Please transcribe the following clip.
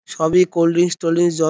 সবই cold drinks told drinks য--